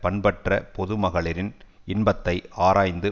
பண்பற்ற பொது மகளிரின் இன்பத்தை ஆராய்ந்து